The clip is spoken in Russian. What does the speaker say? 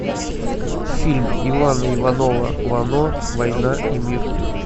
фильм ивана иванова вано война и мир